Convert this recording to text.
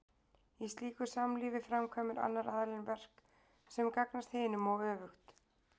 Í slíku samlífi framkvæmir annar aðilinn verk sem gagnast hinum og öfugt.